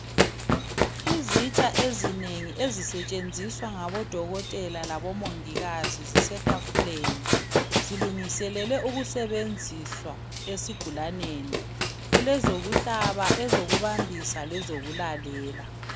Izitsha ezinengi ezisetshenziswa ngabodokotela labomongikazi zisetafuleni. Zilungiselelwe ukusebenziswa esigulaneni. Kulezokuhlaba, ezokubambisa lezokulalela.